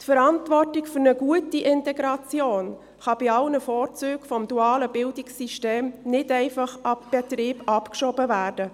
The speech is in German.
Die Verantwortung für eine gute Integration kann bei allen Vorzügen des dualen Bildungssystems nicht einfach auf den Betrieb abgeschoben werden.